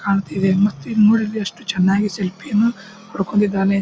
ಕಾಂತಿದೆ ಮತ್ತು ಇದ್ ನೋಡಿದ್ರೆ ಎಷ್ಟು ಚೆನ್ನಾಗಿ ಸೆಲ್ಫಿಯೇ ಯನೂ ಹೊಡ್ಕೊಂಡಿದಾನೆ.